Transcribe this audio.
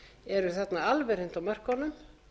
eru þarna alveg hreint á mörkunum